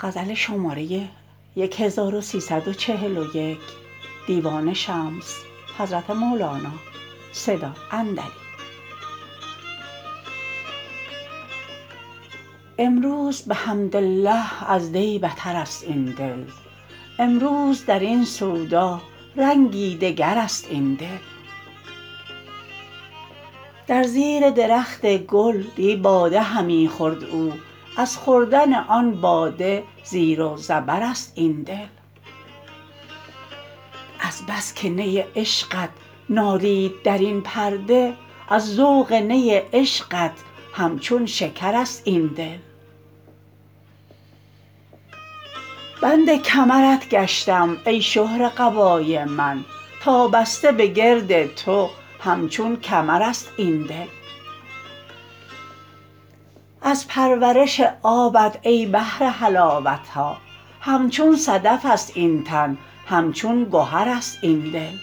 امروز بحمدالله از دی بترست این دل امروز در این سودا رنگی دگرست این دل در زیر درخت گل دی باده همی خورد او از خوردن آن باده زیر و زبرست این دل از بس که نی عشقت نالید در این پرده از ذوق نی عشقت همچون شکرست این دل بند کمرت گشتم ای شهره قبای من تا بسته بگرد تو همچون کمرست این دل از پرورش آبت ای بحر حلاوت ها همچون صدفست این تن همچون گهرست این دل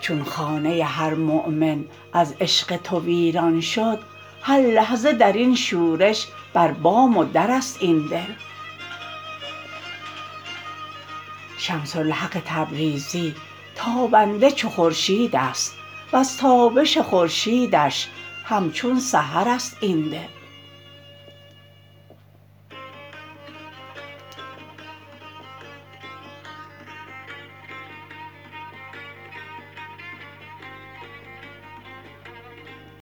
چون خانه هر مؤمن از عشق تو ویران شد هر لحظه در این شورش بر بام و درست این دل شمس الحق تبریزی تابنده چو خورشیدست وز تابش خورشیدش همچون سحرست این دل